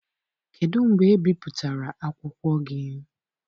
Kedụ mgbe e bipụtara akwụkwọ gị?